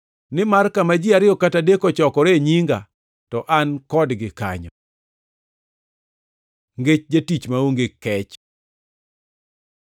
Nimar kama ji ariyo kata adek ochokoree e nyinga to an kodgi kanyo.” Ngech jatich maonge kech